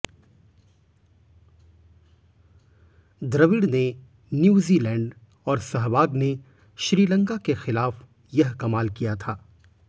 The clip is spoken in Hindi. द्रविड़ ने न्यूजीलैंड और सहवाग ने श्रीलंका के खिलाफ यह कमाल किया था